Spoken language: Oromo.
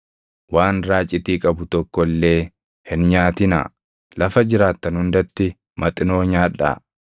Waan raacitii qabu tokko illee hin nyaatinaa; lafa jiraattan hundatti Maxinoo nyaadhaa.”